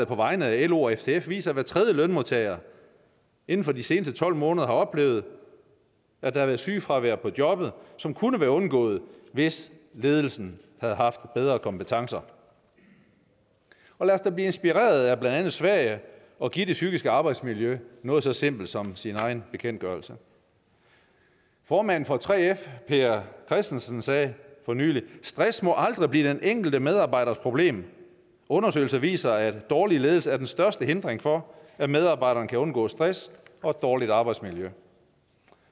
på vegne af lo og ftf viser at hver tredje lønmodtager inden for de seneste tolv måneder har oplevet at der har været sygefravær på jobbet som kunne være undgået hvis ledelsen havde haft bedre kompetencer lad os da blive inspireret af blandt andet sverige og give det psykiske arbejdsmiljø noget så simpelt som sin egen bekendtgørelse formanden for 3f per christensen sagde for nylig stress må aldrig blive til den enkelte medarbejders problem undersøgelser viser at dårlig ledelse er den største hindring for at medarbejderne kan undgå stress og dårligt arbejdsmiljø